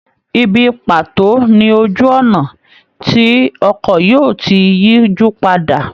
Ìbí paato ni ojú ọ̀nà tí ọkọ̀ yóò ti yijupada.